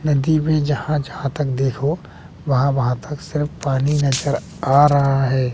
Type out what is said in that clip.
नदी में जहां जहां तक देखो वहां वहां तक सिर्फ पानी नजर में आ रहा है।